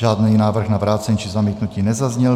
Žádný návrh na vrácení či zamítnutí nezazněl.